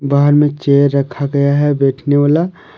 बाहर में चेयर रखा गया है बैठने वाला।